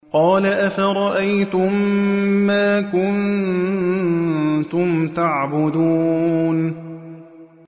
قَالَ أَفَرَأَيْتُم مَّا كُنتُمْ تَعْبُدُونَ